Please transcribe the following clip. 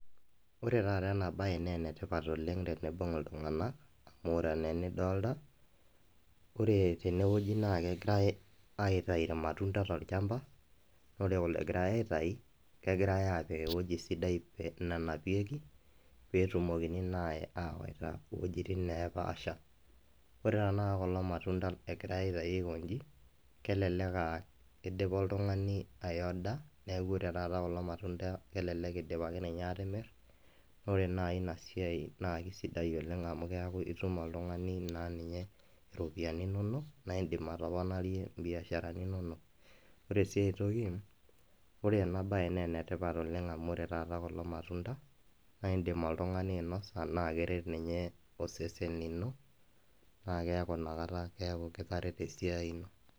Ore taata ena baye naa ene tipat oleng teneibung iltunganak amu ore anaa enidolita ,ore tene wueji naa kegirai aityu ilmatunda tolchamba ,naa ore egirai aitayu, kegirai aapik ewueji sidai nanapieki pee etumokini naa aawaita wuejitin naapaasha. ore tenakata kulo matunda egirai aitayu aikonji keleke aa eidipa oltungani aiyoda neeku kelelek eidipaki ninye aatimirr na ore naaji ina siai naa keisidai amuu keku itum oltungani naa ninye ropiyiani inonok naa idim atoponarie naa mbiasharani inonok ,ore sii aitoki, ore ena baye naa ene ipat oleng amu ore taata kulo matunda naa indimmoltungani ainosa naa keret ninye osesen lino naa keeku inakata kitareto esiai ino.